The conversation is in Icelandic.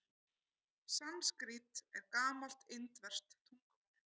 Sanskrít er gamalt indverskt tungumál.